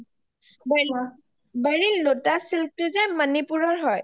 baril lotus silk টো যে মণিপুৰ ৰ হয়